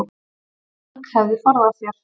Fólk hefði forðað sér